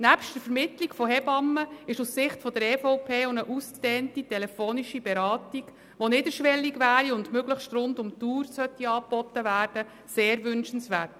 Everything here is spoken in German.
Nebst der Vermittlung von Hebammen ist aus Sicht der EVP auch eine ausgedehnte telefonische Beratung, die niederschwellig und möglichst rund um die Uhr angeboten werden sollte, sehr wünschenswert.